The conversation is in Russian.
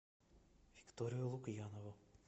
викторию лукьянову